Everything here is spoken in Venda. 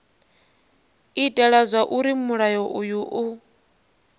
itela zwauri mulayo uyu u